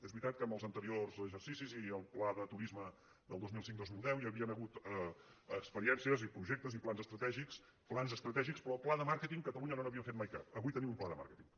és veritat que en els anteriors exercicis i el pla de turisme del dos mil cinc·dos mil deu hi havien hagut ex·periències i projectes i plans estratègics plans estra·tègics però pla de màrqueting a catalunya no n’haví·em fet mai cap avui tenim un pla de màrqueting